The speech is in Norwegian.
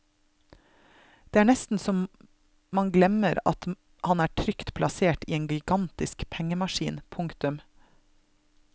Det er nesten så man glemmer han er trygt plassert i en gigantisk pengemaskin. punktum